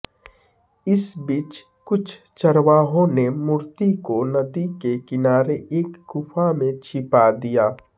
इस बीच कुछ चरवाहों ने मूर्ति को नदी के किनारे एक गुफा में छिपा दिया